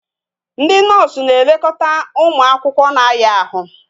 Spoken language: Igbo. Ndị noosu na-elekọta ụmụ akwụkwọ na-aya ahụ